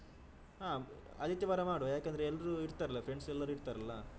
ಹ ಆದಿತ್ಯವಾರ ಮಾಡುವ ಯಾಕಂದ್ರೆ ಎಲ್ಲರೂ ಇರ್ತಾರಲ್ಲ friends ಎಲ್ಲ ಇರ್ತಾರಲ್ಲ.